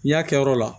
N'i y'a kɛ yɔrɔ la